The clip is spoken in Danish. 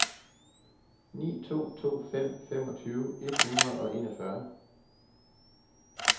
ni to to fem femogtyve et hundrede og enogfyrre